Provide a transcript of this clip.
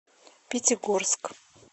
пятигорск